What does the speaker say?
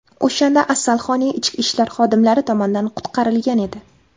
O‘shanda Asalhoney ichki ishlar xodimlari tomonidan qutqarilgan edi.